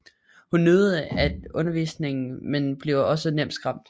Hun nyder at undervise men bliver også nemt skræmt